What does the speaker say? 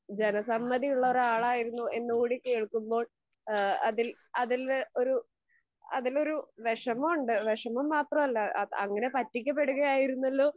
ജനസമ്മധി ഉള്ള ഒരു ആളായിരുന്നു എന്നുകൂടി കേൾക്കുമ്പോൾ ഇഹ് അതിൽ അതില് ഒരു അതിനൊരു വെഷമവുണ്ട്. വെഷമം മാത്രമല്ല, അങ്ങിനെ പറ്റിക്കപ്പെടുകയായിരുന്നല്ലോ.